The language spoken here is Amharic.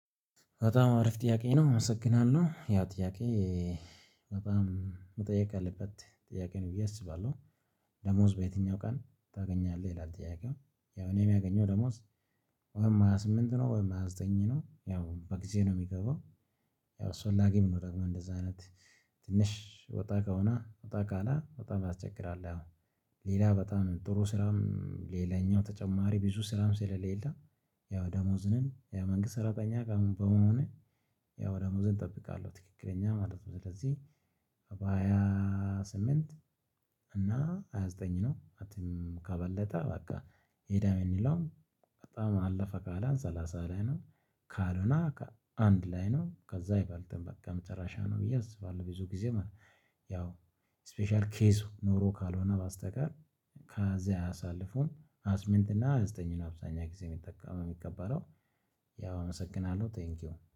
በጣም አሪፍ ጥያቄ ነው አመሰግናለሁ ያ ጥያቄ በጣም መጠየቅ ያለበት ጥያቄ ነው ብዬ አስባለሁ። ደሞዝ በየትኛው ቀን ታገኛለህ? ይላል ጥያቄው። ያው እኔ የሚያገኘው ደሞዝ ወይም ሃያ ስምንት ነው ወይም ሃያ ዘጠኝ ነው ያው በጊዜ ነው የሚገባው። ያው አስፈላጊም ነው ደግሞ እንደዚህ አይነት ትንሽ ወጣ ከሆነ ወጣ ካለ በጣም ያስቸግራል። አሁን ሌላ በጣም ጥሩ ስራም ሌላኛው ተጨማሪ ብዙ ስራም ስለሌለ። ያው ደሞዝንም ያው የመንግስት ሰራተኛ ጋር በመሆኔ ያው ደሞዝን እጠብቃለሁ ትክክለኛ ማለት ነው። ስለዚህ በሃያ ስምንት እና ሃያ ዘጠኝ ነው ከትም ከበለጠ በቃ ሄደ ብንለው። በጣም አለፈ ካለ ሰላሳ ላይ ነው። ካልሆነ አንድ ላይ ነው ከዛ አይበልጥም በቃ መጨረሻ ነው ብዬ አስባለሁ። ብዙ ጊዜ ማለት ነው። ያው ስፔሻል ኬዝ ኖሮ ካልሆነ በስተቀር። ከዚያ አያሳልፉም ሀያስምንት እና ሀያዘጠኝ አብዛኛው ጊዜ የሚጠቃም የምቀበለው። ያው አመሰግናለሁ ቴንኪው